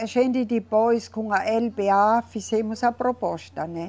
A gente depois, com a eLeBêA, fizemos a proposta, né?